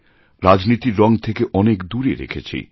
রাজনীতির রঙ থেকে অনেক দূরে রেখেছি